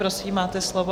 Prosím, máte slovo.